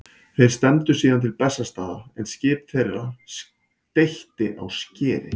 Þeir stefndu síðan til Bessastaða en skip þeirra steytti á skeri.